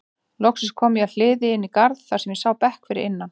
Loks kom ég að hliði inn í garð þar sem ég sá bekk fyrir innan.